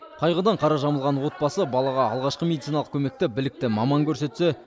қайғыдан қара жамылған отбасы балаға алғашқы медициналық көмекті білікті маман көрсетсе